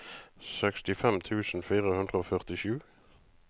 sekstifem tusen fire hundre og førtisju